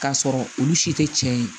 K'a sɔrɔ olu si tɛ cɛ ye